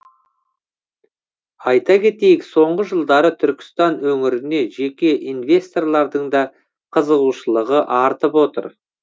айта кетейік соңғы жылдары түркістан өңіріне жеке инвесторлардың да қызығушылығы артып отыр